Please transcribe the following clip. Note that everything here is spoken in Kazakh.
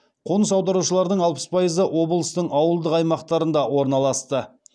қоныс аударушылардың алпыс пайызы облыстың ауылдық аймақтарында орналасты